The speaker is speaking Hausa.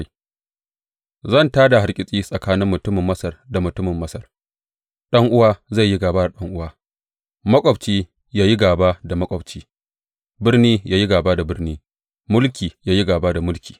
Zan tā da hargitsi tsakanin mutumin Masar da mutumin Masar, ɗan’uwa zai yi gāba da ɗan’uwa maƙwabci ya yi gāba da maƙwabci, birni ya yi gāba da birni, mulki ya yi gāba da mulki.